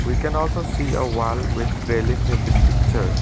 i can also see a wall with railings in this picture.